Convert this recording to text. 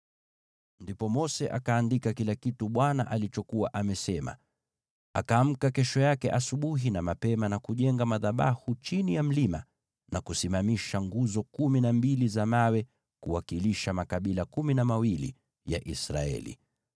Ndipo Mose akaandika kila kitu Bwana alichokuwa amesema. Akaamka kesho yake asubuhi na mapema na kujenga madhabahu chini ya mlima na kusimamisha nguzo kumi na mbili za mawe kuwakilisha makabila kumi na mawili ya Israeli.